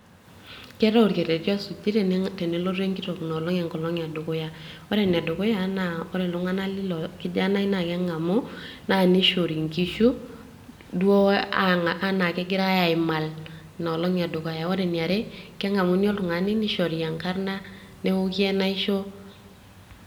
keetae orkerreti osuji tenelotu enkitok inolong edukuya ore enedukuya naa ore iltung'anak lilo kijanai naa keng'amu naa nishori inkishu duo anaa kegirae aimal inolong ore eniare keng'amuni oltung'ani nishori enkarrna neoki enaisho.